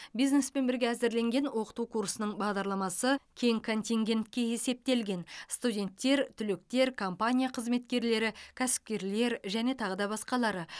бизнеспен бірге әзірленген оқыту курсының бағдарламасы кең контингентке есептелген студенттер түлектер компания қызметкерлері кәсіпкерлер және тағы да басқалары